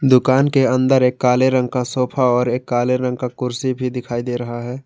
दुकान के अंदर एक काले रंग का सोफा और एक काले रंग का कुर्सी भी दिखाई दे रहा है।